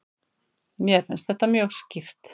Mér finnst þetta mjög skýrt.